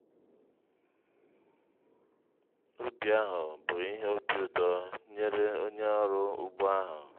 ubi ahụ bụ ìhè obi ụtọ nyèrè ónyé ọrụ ugbo ahụ.